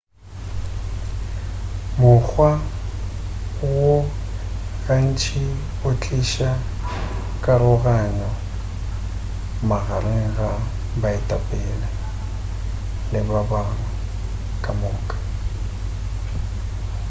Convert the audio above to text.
mokgwa wo gantši o tliša karogano magareng ga baetapele le ba bangwe ka moka